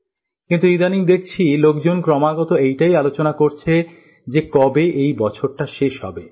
কিন্থ ইদানীং দেখছি লোকজন ক্রমাগত এটাই আলোচনা করছে যে কবে এই বছরটা শেষ হবে